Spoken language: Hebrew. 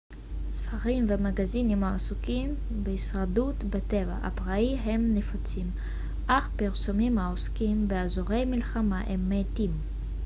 ספרים ומגזינים העוסקים בהישרדות בטבע הפראי הם נפוצים אך פרסומים העוסקים באזורי מלחמה הם מעטים